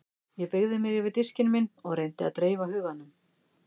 Ég beygði mig yfir diskinn minn og reyndi að dreifa huganum.